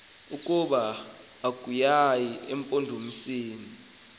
ukuba akukayi emampondomiseni